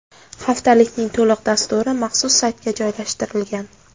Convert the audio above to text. Haftalikning to‘liq dasturi maxsus saytga joylashtirilgan.